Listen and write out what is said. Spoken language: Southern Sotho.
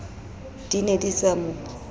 di ne di sa mo